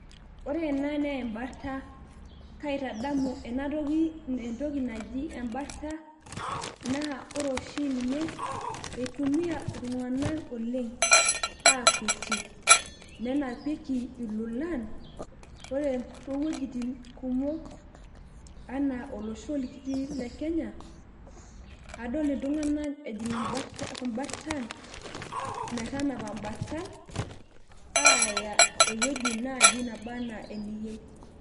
ore ena naa ebarta, kaitadamu ena toki entoki naji ebarta, naa ore oshi ninye eitumia iltunganak aakuetie nenapieki lolan. ore too wuejitin kumok anaa olosho likitii le kenya, aadol iltunganak ejing imbartan, metanapa mbartan aaya ewueji naji naba ana eniyieu.